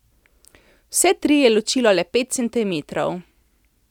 Vse tri je ločilo le pet centimetrov.